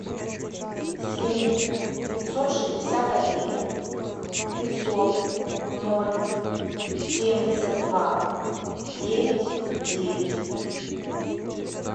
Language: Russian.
семь пятьсот шестьдесят один пятьсот ноль семьдесят два девять девять